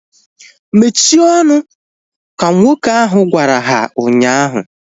Mechie ọnụ! Ka nwoke ahu gwara ha ụnyaahụ